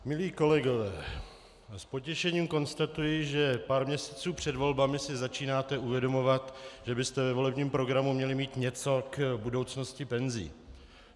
Milí kolegové, s potěšením konstatuji, že pár měsíců před volbami si začínáte uvědomovat, že byste ve volebním programu měli mít něco k budoucnosti penzí.